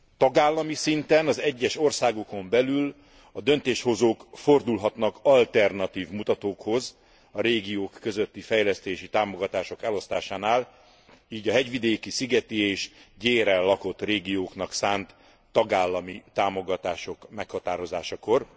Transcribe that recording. Tagállami szinten az egyes országokon belül a döntéshozók fordulhatnak alternatív mutatókhoz a régiók közötti fejlesztési támogatások elosztásánál, így a hegyvidéki, szigeti és gyéren lakott régióknak szánt tagállami támogatások meghatározásakor.